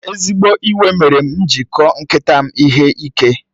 Ezigbo iwe mere m ji kụọ nkịta m ihe ike.